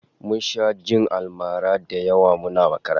Mun sha jin almara da yawa muna makaranta